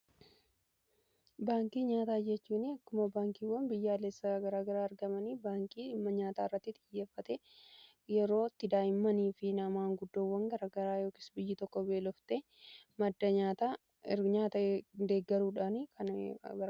baankii nyaataa jechuun akkuma baankiiwwan biyyaalessa garaagaraa argamanii baankii immoo nyaata irratti xiyyeeffate yeroo itti daa'immanii fi nammni gurgudoowwan garaagaraa biyyi tokko beelofte madda nyaata deeggaruudhaan tajaajiludha.